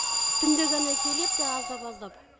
түнде ғана келеді аздап аздап